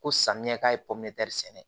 Ko samiyɛ ka popitɛri sɛnɛ